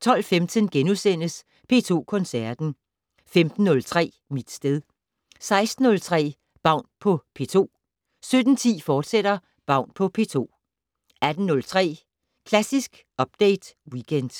12:15: P2 Koncerten * 15:03: Mit sted 16:03: Baun på P2 17:10: Baun på P2, fortsat 18:03: Klassisk Update Weekend